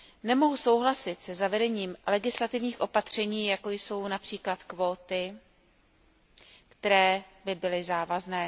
Nemohu souhlasit se zavedením legislativních opatření, jako jsou například kvóty, které by byly závazné.